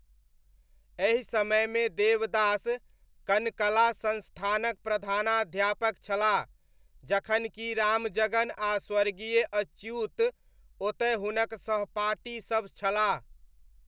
एहि समयमे देवदास कनकला संस्थानक प्रधानाध्यापक छलाह, जखन कि रामजगन आ स्वर्गीय अच्युत ओतय हुनक सहपाठीसब छलाह।